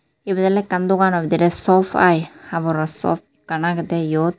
ebet oley ekken dogano bidirey soap ai haboro soap ekkan ageyde eyot.